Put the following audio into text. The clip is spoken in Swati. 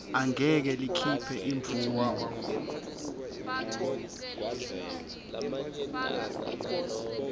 angeke likhiphe imvumo